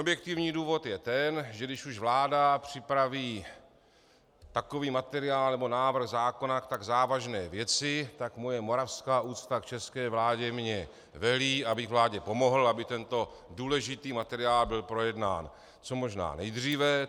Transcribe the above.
Objektivní důvod je ten, že když už vláda připraví takový materiál nebo návrh zákona k tak závažné věci, tak moje moravská úcta k české vládě mně velí, abych vládě pomohl, aby tento důležitý materiál byl projednán co možná nejdříve.